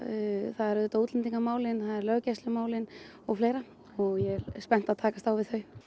það eru auðvitað útlendingamálin löggæslumálin og fleira og ég er spennt að takast á við þau